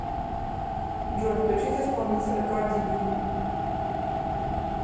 джой включить исполнителя карди би